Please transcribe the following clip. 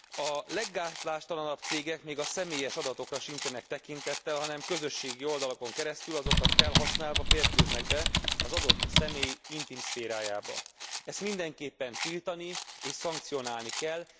A leggátlástalanabb cégek még a személyes adatokra sincsenek tekintettel, hanem közösségi oldalakon keresztül, azokat felhasználva férkőznek be az adott személy intim szférájába. Ezt mindenképpen tiltani és szankcionálni kell.